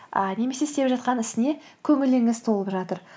ыыы немесе істеп жатқан ісіне көңіліңіз толып жатыр